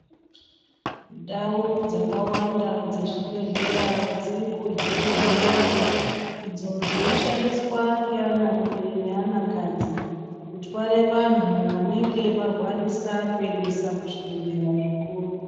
Ndau dzakawanda dzezvibhedhleya dziri kuhinwe movha idzo dzinoshandiswa ngeanarume neanakadzi kutware vantu vanenge varwarisa kuendesa kuzvibhedhleya zvikuru.